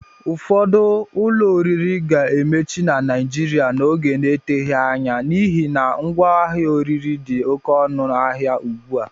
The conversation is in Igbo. Ụfọdụ ụlọ oriri ga-emechi na Naijiriia n'oge n'eteghi anya n'ihi na ngwá ihe oriri dị oké ọnụ ahịa ugbua